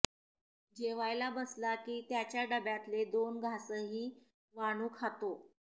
जेवायला बसला की त्याच्या डब्यातले दोन घासही वानू खातो